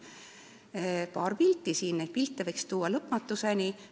Siin on paar pilti, kuid neid võiks tuua lõpmatuseni.